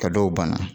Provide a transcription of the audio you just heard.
Ka dɔw ban